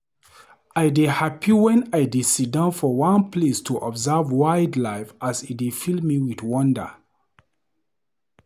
I dey happy wen I dey sidon for one place to observe wildlife as e dey fill me with wonder.